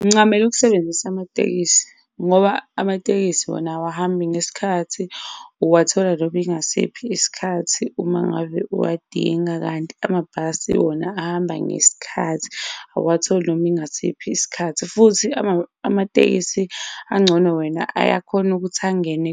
Ngincamela ukusebenzisa amatekisi ngoba amatekisi wona awahambi ngesikhathi, uwathola noma ingasiphi isikhathi uma ngave owadinga. Kanti amabhasi wona ahamba ngesikhathi, awuwatholi noma ingasiphi isikhathi futhi amatekisi angcono wena ayakhona ukuthi angene